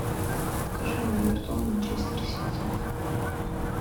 покажи мне эвертон манчестер сити